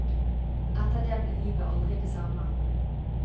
Etter det ble livet aldri det samme.